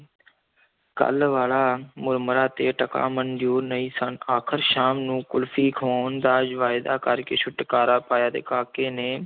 ਕੱਲ੍ਹ ਵਾਲਾ ਮੁਰਮੁਰਾ ਤੇ ਟਕਾ ਮਨਜ਼ੂਰ ਨਹੀਂ ਸਨ, ਆਖ਼ਰ ਸ਼ਾਮ ਨੂੰ ਕੁਲਫ਼ੀ ਖਵਾਉਣ ਦਾ ਵਾਇਦਾ ਕਰ ਕੇ ਛੁਟਕਾਰਾ ਪਾਇਆ ਤੇ ਕਾਕੇ ਨੇ